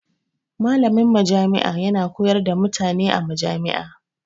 Malamin majami'a yana koyar da mutane a majami'a.